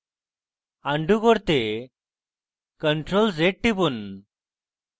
undo করতে ctrl + z টিপুন